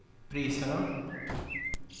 priserna